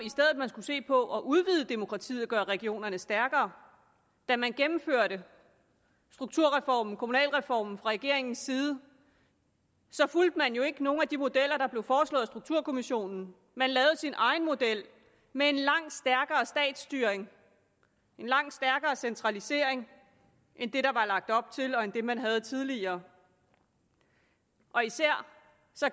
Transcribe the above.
man skulle se på at udvide demokratiet og gøre regionernes stærkere da man gennemførte strukturreformen kommunalreformen fra regeringens side fulgte man jo ikke nogen af de modeller der blev foreslået af strukturkommissionen man lavede sin egen model med en langt stærkere statsstyring en langt stærkere centralisering end den der var lagt op til og den man havde tidligere især